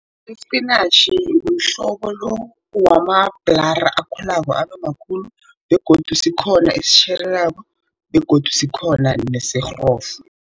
Ispinatjhi, mhlobo lo wamabhlara akhulako abe makhulu begodu sikhona esitjhelelako begodu sikhona nesirhofu.